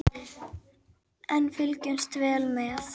En við fylgjumst vel með